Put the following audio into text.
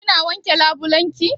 Kina wanke labulai naki?